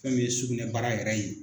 Fɛn min ye sugunɛbara yɛrɛ ye.